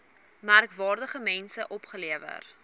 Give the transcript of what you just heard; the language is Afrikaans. merkwaardige mense opgelewer